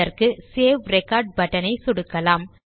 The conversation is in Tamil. இதற்கு சேவ் ரெக்கார்ட் பட்டன் ஐ சொடுக்கலாம்